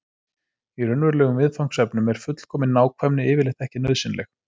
Í raunverulegum viðfangsefnum er fullkomin nákvæmni yfirleitt ekki nauðsynleg.